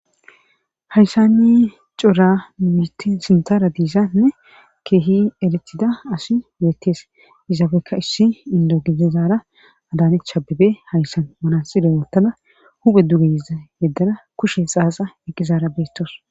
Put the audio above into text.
hayssanni cora miti sintara diisanne keehi eletida asi beetes izaabekka issi indo gizizaara adaanechabebe hayssan manasire wottala huphe dugeyiza yeddara kushe xaaxa eqqizaara beettos